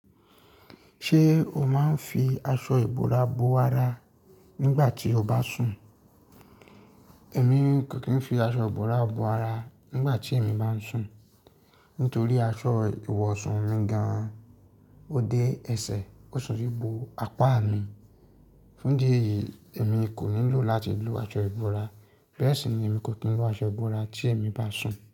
Ṣé o máa ń fi aṣọ ìbora bo ara nígbà tí o bá sùn? Èmi kò kí ń fi aṣọ ìbora bo ara nígbà tí èmi bá ń sùn. Nítorí aṣọ ìwọ̀sùn mi gan-an, ó dé ẹsẹ̀, ó sì bo apá mi. Fún di ì, èmi kò nílò láti lo aṣọ ìbora. Bẹ́ẹ̀ sì ni èmi kò kí ń lo aṣọ ìbora tí èmi bá sùn.